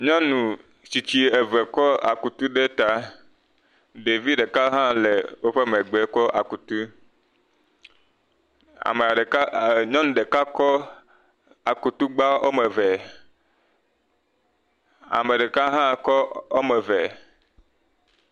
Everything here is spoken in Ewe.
Nyɔnu tsitsi eve kɔ akutu ɖe ta, ɖevi ɖeka hã le wo megbe kɔ akutu, ame ɖeke, nyɔnu ɖeka kɔ aku gba eve, ame ɖeka hã kɔ woame eve.